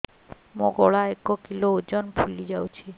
ମୋ ଗଳା ଏକ କିଲୋ ଓଜନ ଫୁଲି ଯାଉଛି